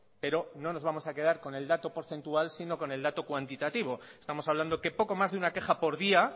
pero no nos vamos a quedar con el dato porcentual sino con el dato cuantitativo estamos hablando que poco más de una queja por día